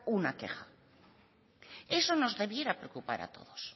una queja eso nos debiera preocupar a todos